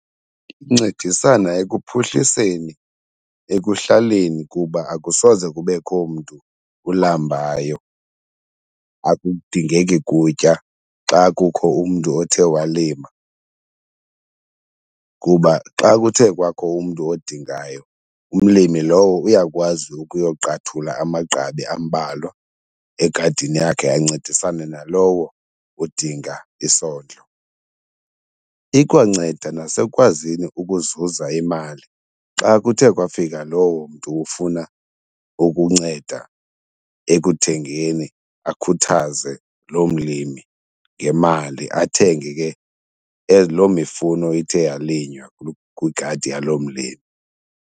Incedisana ekuphuhliseni ekuhlaleni kuba akusoze kubekho mntu ulambayo akudingeki kutya xa kukho umntu othe walima. Kuba xa kuthe kwakho umntu odingayo umlimi lowo uyakwazi ukuyoqathula amagqabi ambalwa egadini yakhe ancedisane nalowo udinga isondlo. Ikwanceda nasekwazini ukuzuza imali xa kuthe kwafika lowo mntu ufuna ukunceda ekuthengeni akhuthaze loo mlimi ngemali athenge ke loo mifuno ithe yalinywa kwigadi yaloo mlimi.